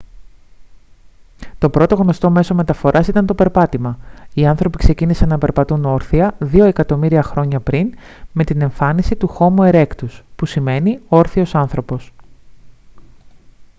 το πρώτο γνωστό μέσο μεταφοράς ήταν το περπάτημα οι άνθρωποι ξεκίνησαν να περπατούν όρθια δύο εκατομμύρια χρόνια πριν με την εμφάνιση του χόμο ερέκτους που σημαίνει όρθιος άνθρωπος